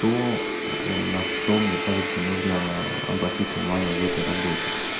то на что мне кажется нужно обратить внимание в этой работе